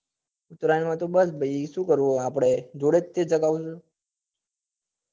ઉતરાયણ માં તો બસ ભાઈ શું કરવા નું જોડે જ ચગાવવા નું